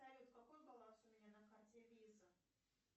салют какой баланс у меня на карте виза